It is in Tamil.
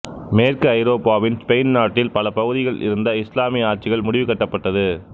மேற்கு ஐரோப்பாவின் ஸ்பெயின் நாட்டின் பல பகுதிகளில் இருந்த இசுலாமிய ஆட்சிகள் முடிவு கட்டப்பட்டது